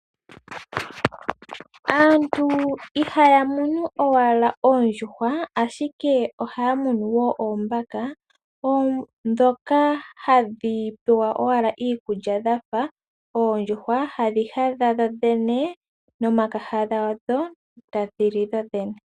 Aantu, ihaya munu owala oondjuhwa, ashike ohaya munu woo oombaka dhoka hadhi pewa owala iikulya dhafa oondjuhwa, hadhi hadha dho dhene no makaha hadho, ta dhili dho dhene